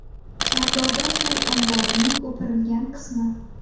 Sardoba suv omborining o‘pirilgan qismi.